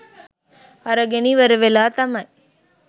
අරගෙන ඉවර වෙලා තමයි